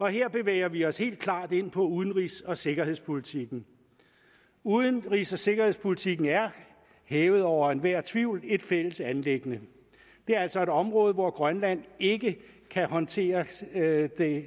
her bevæger vi os helt klart ind på udenrigs og sikkerhedspolitikken udenrigs og sikkerhedspolitikken er hævet over enhver tvivl et fælles anliggende det er altså et område hvor grønland ikke kan håndtere